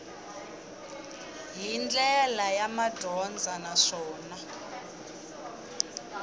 hi ndlela ya madyondza naswona